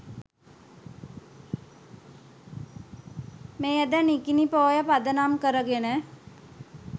මෙයද නිකිණි පෝය පදනම් කරගෙන